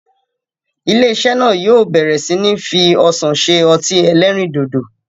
Ilé-iṣẹ́ náà yóò bẹ̀ẹ̀rẹ̀ sí ní fi ọsàn se ọtí-ẹlẹrindòdò.